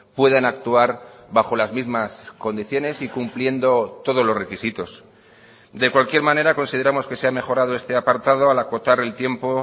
puedan actuar bajo las mismas condiciones y cumpliendo todos los requisitos de cualquier manera consideramos que se ha mejorado este apartado al acotar el tiempo